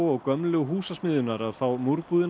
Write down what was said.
og gömlu Húsasmiðjunnar að fá